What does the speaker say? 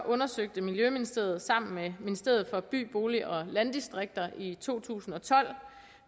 undersøgte miljøministeriet sammen med ministeriet for by bolig og landdistrikter i to tusind og tolv